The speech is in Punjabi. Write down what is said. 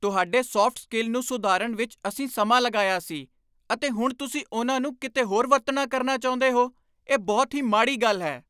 ਤੁਹਾਡੇ ਸੌਫਟ ਸਕਿੱਲ ਨੂੰ ਸੁਧਾਰਨ ਵਿੱਚ ਅਸੀਂ ਸਮਾਂ ਲਗਾਇਆ ਸੀ , ਅਤੇ ਹੁਣ ਤੁਸੀਂ ਉਨ੍ਹਾਂ ਨੂੰ ਕਿਤੇ ਹੋਰ ਵਰਤਣਾ ਕਰਨਾ ਚਾਹੁੰਦੇ ਹੋ? ਇਹ ਬਹੁਤ ਹੀ ਮਾੜੀ ਗੱਲ ਹੈ।